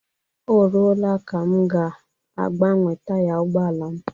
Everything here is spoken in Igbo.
Ọ ruola ka m ga agbanwe taya ụgbọala m